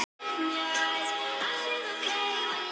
Þau voru hér.